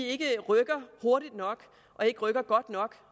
ikke rykker hurtigt nok og ikke rykker godt nok